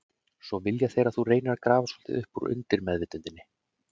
Svo þeir vilja að þú reynir að grafa svolítið upp úr undirmeðvitundinni.